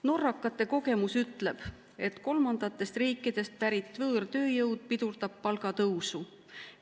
Norrakate kogemus ütleb, et kolmandatest riikidest pärit võõrtööjõud pidurdab palgatõusu.